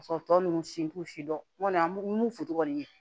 Ka sɔrɔ tɔ nunnu si t'u si dɔn n kɔni foto kɔni ye